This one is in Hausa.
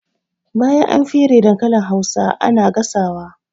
Bayan an fere dankalin hausa ana gasa wa